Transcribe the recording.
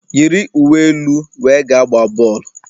Yiri uwe elu wee gaa gbaa bọọlụ!